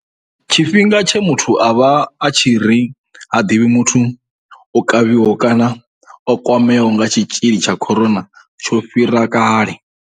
Tshifhinga tshe muthu a vha a tshi nga ri ha ḓivhi muthu o kavhiwaho kana a kwameaho nga tshitzhili tsha corona tsho fhira kale.